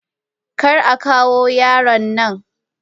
Kar a kawo yaron nan.